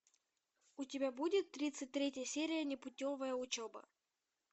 у тебя будет тридцать третья серия непутевая учеба